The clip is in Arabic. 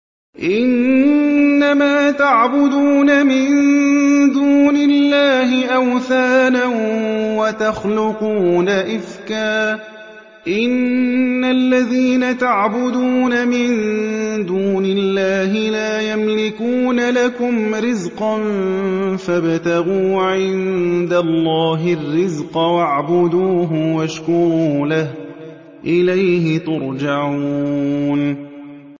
إِنَّمَا تَعْبُدُونَ مِن دُونِ اللَّهِ أَوْثَانًا وَتَخْلُقُونَ إِفْكًا ۚ إِنَّ الَّذِينَ تَعْبُدُونَ مِن دُونِ اللَّهِ لَا يَمْلِكُونَ لَكُمْ رِزْقًا فَابْتَغُوا عِندَ اللَّهِ الرِّزْقَ وَاعْبُدُوهُ وَاشْكُرُوا لَهُ ۖ إِلَيْهِ تُرْجَعُونَ